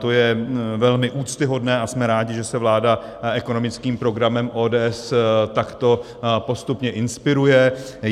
To je velmi úctyhodné a jsme rádi, že se vláda ekonomickým programem ODS takto postupně inspiruje.